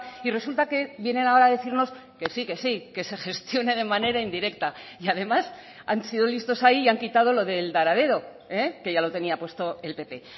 y resulta que vienen ahora a decirnos que sí que sí que se gestione de manera indirecta y además han sido listos ahí y han quitado lo del dar a dedo que ya lo tenía puesto el pp